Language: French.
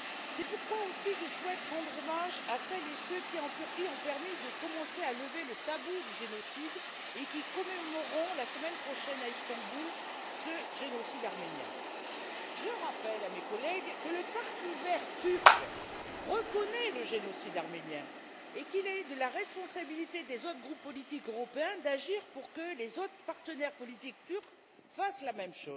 C'est pourquoi je souhaite aussi rendre hommage à celles et ceux qui, en Turquie, ont permis de commencer à lever le tabou du génocide et qui commémorerons, la semaine prochaine, à Istanbul, ce génocide arménien. Permettez moi de rappeler à mes collègues que le parti vert turc reconnaît le génocide arménien et qu'il est de la responsabilité des autres groupes politiques européens d'agir afin que les autres partenaires politiques turcs en fassent de même.